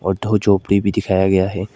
और दो झोपड़ी भी दिखाया गया है।